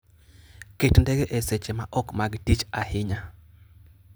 Ket ndege e seche maok mag tich ahinya.